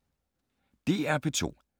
DR P2